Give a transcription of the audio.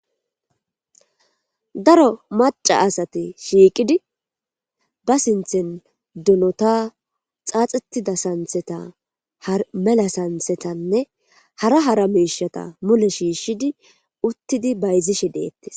daro maca asate shiiqidi ba sinthen dunota xaaxitida santheta har mela santhetanne hara hara meishata mule shiishshidi uttidi bayzishe deettis